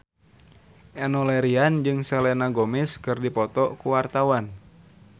Enno Lerian jeung Selena Gomez keur dipoto ku wartawan